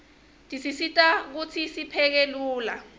tisisita kutsi sipheke lula